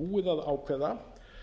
búið að ákveða